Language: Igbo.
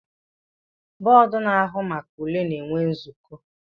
Bọdụ na-ahụ maka ule na-enwe nzuko